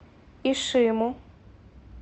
ишиму